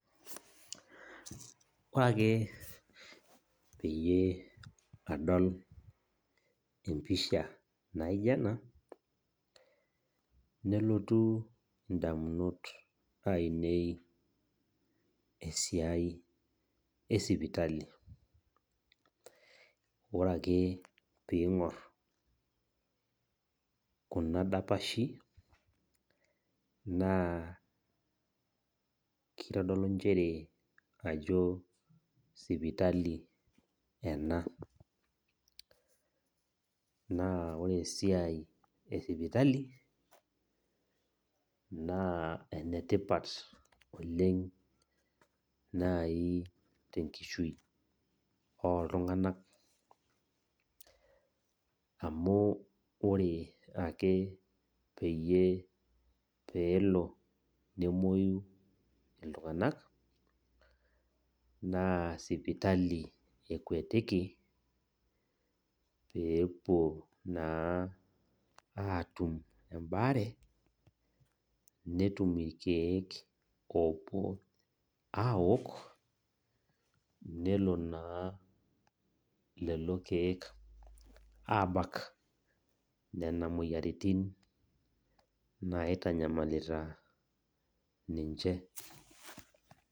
Ore ake peyie adol empisha naijo ena , nelotu indamunot ainei esiai esipitali . Ore ake pingor kuna dapashi naa kitodolu nchere sipitali ena , naa ore esiai esipitali naa enetipat oleng tenkishui oltunganak amu ore ake peyie emwoyu iltunganak naa sipitali ekwetiki pepuo atum embaare netum irkiek opuo abak nelo naa lelo kiek abak nena moyiaritin naitanyamalita ninche .